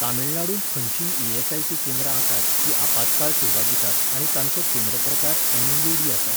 तमिळनाडूंत खंयचींय ई.एस.आय.सी. केंद्रां आसात, जीं आपात्काळ सेवा दितात आनी तांचो केंद्र प्रकार एम.इ.यू.डी. आसा?